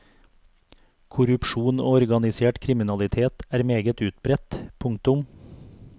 Korrupsjon og organisert kriminalitet er meget utbredt. punktum